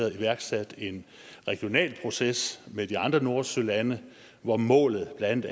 iværksat en regional proces med de andre nordsølande hvor målet blandt